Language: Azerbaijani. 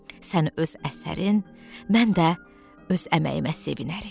Sən öz əsərin, mən də öz əməyimə sevinərik.